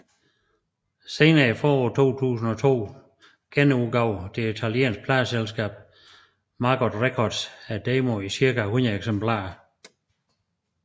Sent i foråret 2002 genudgav det italienske pladeselskab Maggot Records demoen i cirka 100 eksemplarer